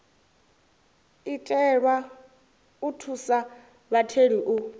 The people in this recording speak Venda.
itelwa u thusa vhatheli u